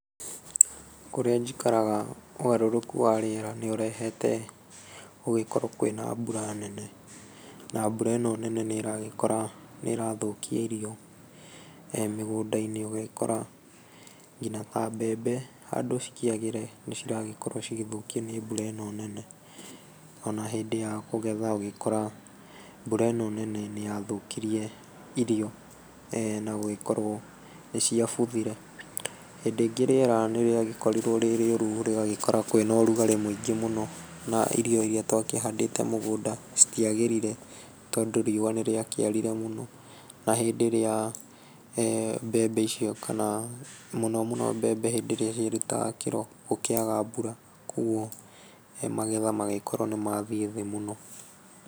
Kũrĩa njikaraga, ũgarũrũku wa rĩera nĩ ũrehete gũgĩkorwo kwĩna mbura nene, na mbura ĩno nene nĩ ĩragĩkora nĩ ĩrathũkia irio, mĩgũnda-inĩ, ũgagĩkora ngina ta mbembe handũ cikĩagĩre, nĩ cirakorwo cigĩthũkio nĩ mbura ĩno nene. Ona hĩndĩ ya kũgetha ũgakora mbura ĩno nene nĩ yagĩthũkirie irio, na gũgĩkorwo nĩ ciabuthire. Hĩndĩ ĩngĩ rĩera nĩ rĩagĩkorirwo rĩrĩũru rĩgagĩkora kwĩna ũrugarĩ mũingĩ mũno, na irio iria twakĩhandĩte mũgũnda citiagĩrire, tondũ ruũwa nĩ rĩakĩarire mũno, na hĩndĩ ĩrĩa, mbembe icio kana, mũno mũno cikĩruta kĩro, gũkĩaga mbura, koguo magetha magĩkorwo nĩ mathiĩ thĩ mũno.